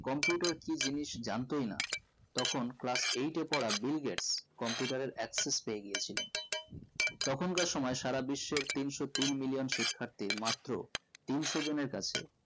computer কি জিনিস জানতোই না তখন class eight এ পড়া বিল গেটস computer এর axis পেয়ে গিয়েছিলেন তখন কার সময়ে সারা বিশ্বের তিনশো তিন million শিক্ষাত্রী মাত্র তিনশো জনের কাছে